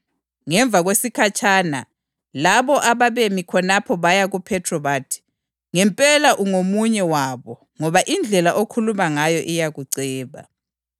Ngemva kwesikhatshana labo ababemi khonapho baya kuPhethro bathi, “Ngempela ungomunye wabo ngoba indlela okhuluma ngayo iyakuceba.”